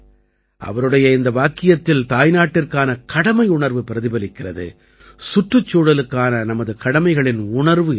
அவருடைய இந்த வாக்கியத்தில் தாய்நாட்டிற்கான கடமையுணர்வு பிரதிபலிக்கிறது சுற்றுச்சூழலுக்கான நமது கடமைகளின் உணர்வு இருக்கிறது